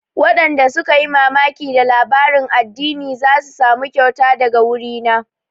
Waɗanda suka yi mamaki da labarin addinin za su samu kyauta daga wuri na